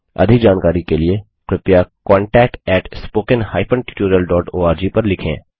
अधिक जानकारी के लिए कृपया contactspoken tutorialorg पर लिखें